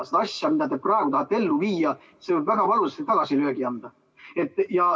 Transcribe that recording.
See, mida te praegu tahate ellu viia, võib väga valusa tagasilöögi anda.